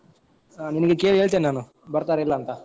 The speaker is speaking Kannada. So ನಿಂಗೆ ಕೇಳಿ ಹೇಳ್ತೇನೆ ನಾನು ಬರ್ತಾರಾ ಇಲ್ಲ ಅಂತ?